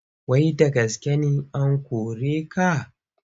Wai da gaske an kore ka?